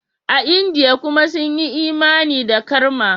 A Indiya kuma sun yi imani da karma.